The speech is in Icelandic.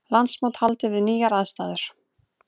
Landsmót haldið við nýjar aðstæður